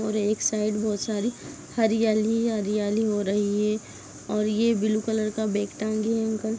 --और एक साइड बहुत सारी हरियाली-हरियाली हो रही है और ये ब्लू कलर का बैग टाँगे है अंकल ।